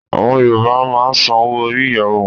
À̀wọn Yorùbá máa ń sanwó orí ìyàwó wọn